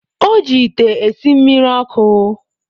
O ji ite esi mmiri ọkụ.